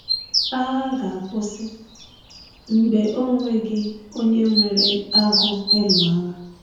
Agha ga-akwụsị mgbe ọ nweghị onye nwere agụụ ịlụ agha.